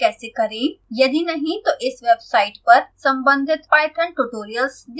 यदि नहीं तो इस वेबसाइट पर संबंधित पाइथन ट्यूटोरियल्स देखें